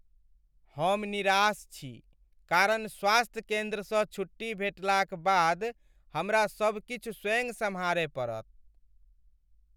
हम निराश छी कारण स्वास्थ्य केन्द्रसँ छुट्टी भेटलाक बाद हमरा सब किछु स्वयं सम्हारय पड़त।